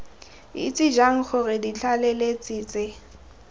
itse jang gore ditlaleletsi tse